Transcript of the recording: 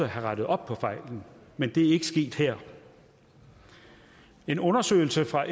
have rettet op på fejlen men det er ikke sket her en undersøgelse fra